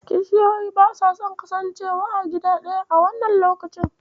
Kishiyoyi basa son kasancewa a gida ɗaya a wannan lokacin.